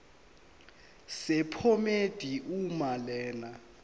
sephomedi uma lena